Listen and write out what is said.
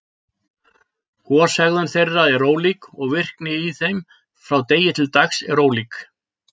Goshegðun þeirra er ólík, og virkni í þeim frá degi til dags er ólík.